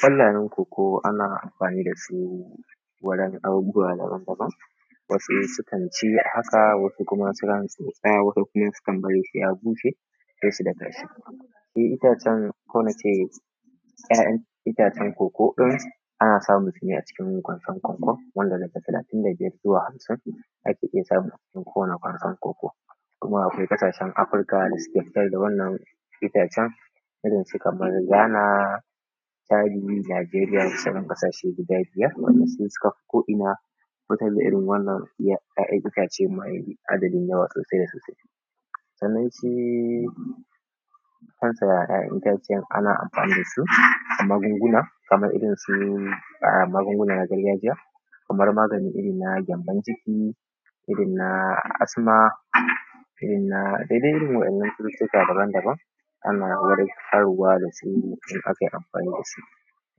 ƙwallayen koko ana amfani da su wurin abubuwa daban-daban wasu sukan ci haka wasu kuma su tsaya wasu kuma sukan bari sai ya bushe sai su daka shi. Shi ita cen ko na ce ya'yan itacen koko ɗin, ana samun su ne a cikin kwandon koko wanda daga talatin da biyar zuwa hamsin ake iya samu a cikin kowanne kwandon koko. Kuma akwai ƙasashe Afirka da suke fitar da wannan itace irin su kamar Ghana chadi Laberiya da sauran ƙasashen guda biyar wanda su suka fi ko'ina fitar da irin wannan ya ya'yan itacen kuma kai adadin yawa sosai da sosai. Sannan shi kansa ya'yan itaciyan ana amfani da su wajen magungunan kamar irinsu [amm] magungunan gargajiya kamar magani irinna gyambon ciki irinna asma irinna da dai irin wa'ennan cututtuka daban-daban ana warkarwa dasu in aka yi amfani da su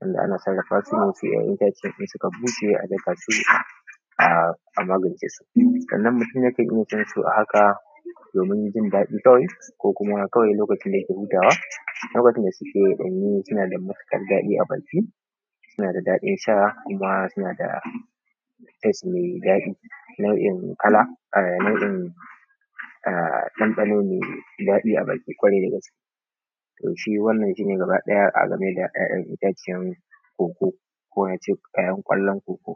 wanda ana sarrafa su ne idan 'ya'yan itacen suka bushe sai a dafa su um a magancesu. Sannan mutum yakan iya cinsu a haka domin jin daɗi kawai ko kuma kawai lokacin da yake hutawa don lokacinda suke danyu suna da matukar daɗi a baki suna da daɗin sha kuma suna da taste mai daɗi nau'in kala um nau'in um ɗanɗano mai daɗi a baki kawarai dagaske. To shi wannan shi ne gaba ɗaya a game da ya'yan iccen koko ko a ce ya'yan kwallon koko.